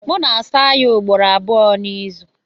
M na-asa ya ugboro abụọ n'izu.